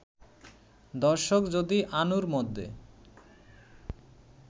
দর্শক যদি আনুর মধ্যে